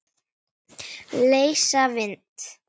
Leysa vind?